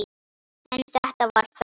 En þetta var þá.